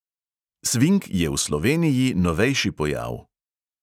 Sving je v sloveniji novejši pojav.